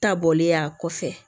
Ta bɔlen y'a kɔfɛ